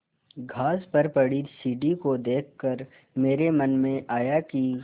घास पर पड़ी सीढ़ी को देख कर मेरे मन में आया कि